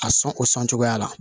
A sɔn o sɔn cogoya la